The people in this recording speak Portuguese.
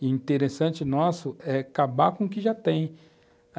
E o interessante nosso é acabar com o que já tem.